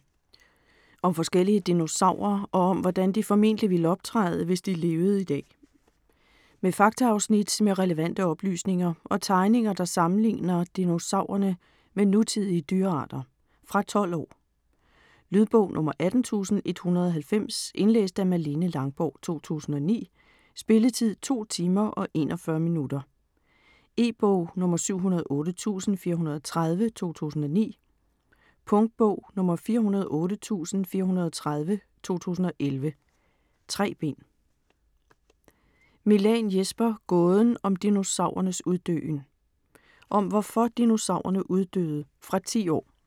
Dixon, Dougal: Hvis dinosaurerne levede i dag Om forskellige dinosaurer, og om hvordan de formentlig ville optræde, hvis de levede i dag. Med faktaafsnit med relevante oplysninger og tegninger, der sammenligner dinosaurerne med nutidige dyrearter. Fra 12 år. Lydbog 18190 Indlæst af Malene Langborg, 2009. Spilletid: 2 timer, 41 minutter. E-bog 708430 2009. Punktbog 408430 2011. 3 bind.